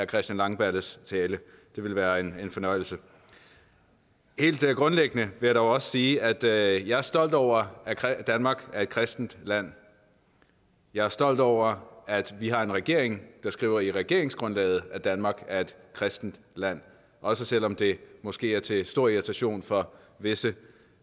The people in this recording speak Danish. christian langballes tale det ville være en fornøjelse helt grundlæggende vil jeg dog også sige at jeg jeg er stolt over at danmark er et kristent land jeg er stolt over at vi har en regering der skriver i regeringsgrundlaget at danmark er et kristent land også selv om det måske er til stor irritation for visse